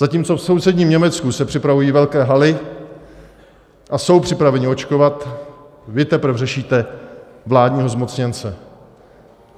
Zatímco v sousedním Německu se připravují velké haly a jsou připraveni očkovat, vy teprve řešíte vládního zmocněnce.